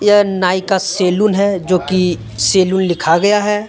यह नाई का सैलून है जो कि सैलून लिखा गया है।